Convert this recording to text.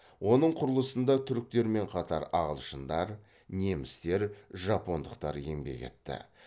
оның құрылысында түріктермен қатар ағылшындар немістер жапондықтар еңбек етті